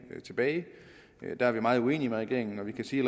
tilbage der er vi meget uenige med regeringen og vi kan sige